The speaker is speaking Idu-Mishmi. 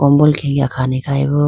kombol khenge akhane khayi bo.